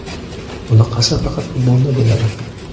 Bunaqasi faqat futbolda bo‘ladi.